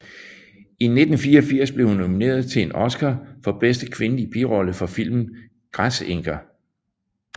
I 1984 blev hun nomineret til en Oscar for bedste kvindelige birolle for filmen Græsenker